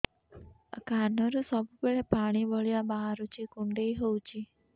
କାନରୁ ସବୁବେଳେ ପାଣି ଭଳିଆ ବାହାରୁଚି କୁଣ୍ଡେଇ ହଉଚି